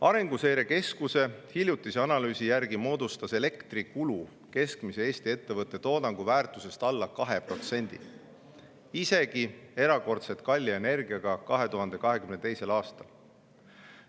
Arenguseire Keskuse hiljutise analüüsi järgi moodustas elektrikulu keskmise Eesti ettevõtte toodangu väärtusest alla 2%, isegi erakordselt kalli energiaga 2022. aastal.